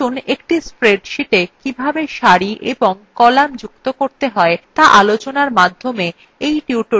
আসুন একটি spreadsheeta কিভাবে সারি এবং কলাম যুক্ত করতে হয় to আলোচনার মধ্যে এই tutorial শুরু করা যাক